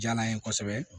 Diyala n ye kosɛbɛ